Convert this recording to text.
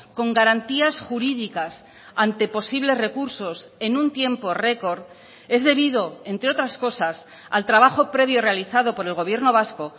con garantías jurídicas ante posibles recursos en un tiempo record es debido entre otras cosas al trabajo previo realizado por el gobierno vasco